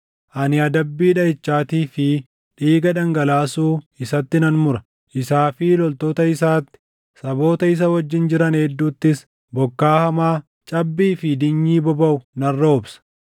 Ani adabbii dhaʼichaatii fi dhiiga dhangalaasuu isatti nan mura; isaa fi loltoota isaatti, saboota isa wajjin jiran hedduuttis bokkaa hamaa, cabbii fi dinyii bobaʼu nan roobsa.